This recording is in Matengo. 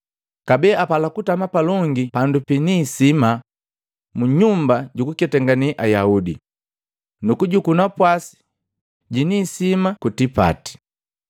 Kabee apala kutama palongi pandu pini isima mu nyumba jukuketangane Ayaudi, nu kujukuu napwasi jiniisima kutipati.